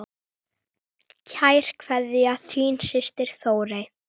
Kær kveðja, þín systir Þórey.